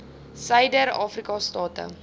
suider afrika state